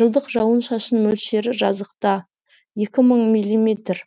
жылдық жауын шашын мөлшері жазықта екі мың миллиметр